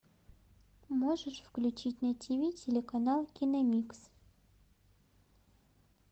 можешь включить на тв телеканал киномикс